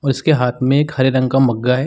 और इसके हाथ में एक हरे रंग का मग्गा है।